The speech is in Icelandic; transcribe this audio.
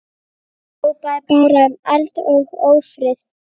Hrópaði bara um eld og ófrið.